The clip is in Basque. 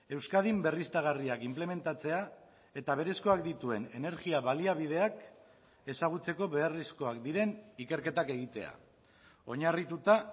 euskadin berriztagarriak inplementatzea eta berezkoak dituen energia baliabideak ezagutzeko beharrezkoak diren ikerketak egitea oinarrituta